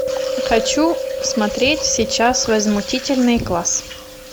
хочу смотреть сейчас возмутительный класс